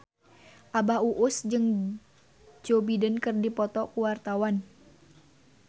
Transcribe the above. Abah Us Us jeung Joe Biden keur dipoto ku wartawan